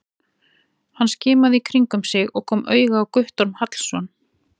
Hann skimaði í kringum sig og kom auga á Guttorm Hallsson.